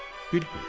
"Bilmirik."